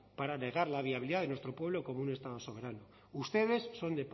para negar la viabilidad de nuestro pueblo como un estado soberano ustedes son